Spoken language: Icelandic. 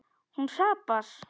Hún hrapar.